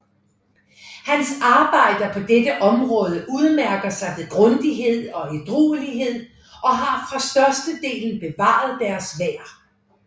Hans arbejder på dette område udmærker sig ved grundighed og ædruelighed og har for største delen bevaret deres værd